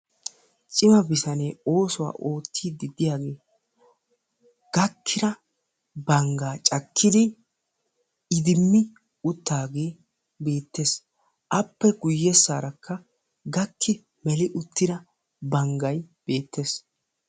Cima bitanee oosuwa oottiddi diyagee gakkida banggaa cakkidi iddimmi uttaagee beettes. Appe guyyessaarakka gakki meli uttida banggay beettes.